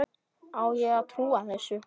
Á ég að trúa þessu?